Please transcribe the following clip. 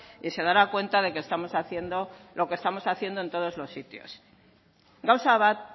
y se dará cuenta de que estamos haciendo lo que estamos haciendo en todos los sitios gauza bat